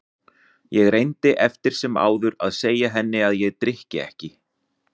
Ég reyndi eftir sem áður að segja henni að ég drykki ekki.